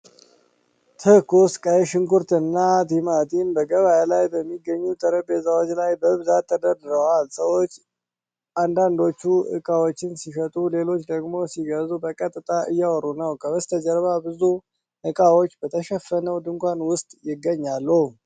ትኩስ ቀይ ሽንኩርት እና ቲማቲም በገበያ ላይ በሚገኙ ጠረጴዛዎች ላይ በብዛት ተደርድረዋል። ሰዎች፣ አንዳንዶቹ ዕቃዎችን ሲሸጡ ሌሎቹ ደግሞ ሲገዙ፣ በቀጥታ እያወሩ ነው። ከበስተጀርባ ብዙ እቃዎች በተሸፈነው ድንኳን ውስጥ ይገኛሉ።